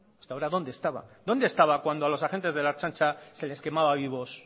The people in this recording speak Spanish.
hasta ahora dónde estaba dónde estaba cuando los agentes de la ertzaintza se les quemaba vivos